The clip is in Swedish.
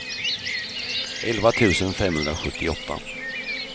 elva tusen femhundrasjuttioåtta